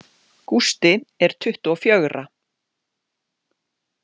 Gústi er tuttugu og fjögurra.